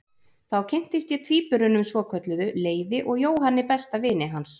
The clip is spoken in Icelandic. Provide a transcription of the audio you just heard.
Þá kynntist ég tvíburunum svokölluðu, Leifi og Jóhanni besta vini hans.